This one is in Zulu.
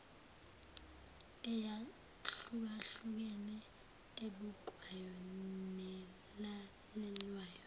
eyahlukahlukene ebukwayo nelalelwayo